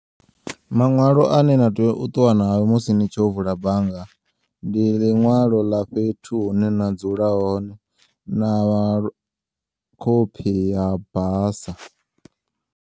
Maṅwalo ane na tea uṱuwa nao musi nitshi yo vula bannga, ndi ḽiṅwalo ḽa fhethu hune na dzula hone na khophi ya basa.